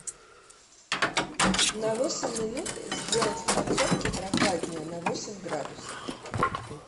на восемь минут сделать в подсобке попрохладнее на восемь градусов